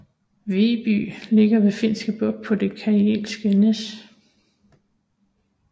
Vyborg ligger ved Finske Bugt på det Karelske næs